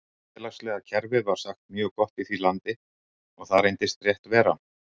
Félagslega kerfið var sagt mjög gott í því landi og það reyndist rétt vera.